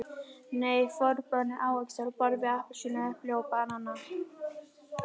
Nei, forboðnir ávextir á borð við appelsínur, epli og banana.